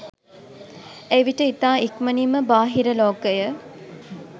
එවිට ඉතා ඉක්මනින්ම බාහිර ලෝකය